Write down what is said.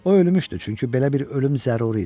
O ölmüşdü, çünki belə bir ölüm zəruri idi.